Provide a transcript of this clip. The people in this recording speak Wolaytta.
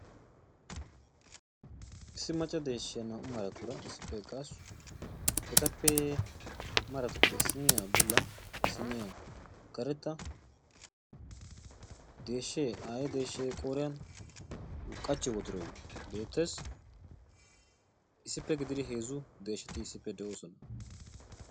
Issi macca deeshshiya naa''u maratuura issippe eqqaasu. Etappe maratuppe issinniya bulla, issinniya karetta, deeshshee aaye deeshshee qooriyan qachchiyo wodoroy beettees. Issippe gididi heezzu deeshshati issippe de'oosona.